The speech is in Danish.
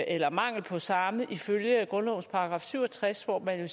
eller mangel på samme ifølge grundlovens § syv og tres hvor der jo